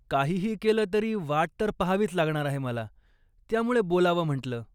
काहीही केलं तरी वाट तर पहावीच लागणार आहे मला, त्यामुळे बोलावं म्हटल.